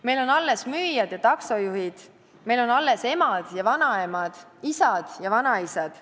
Meil on alles müüjad ja taksojuhid, meil on alles emad ja vanaemad, isad ja vanaisad.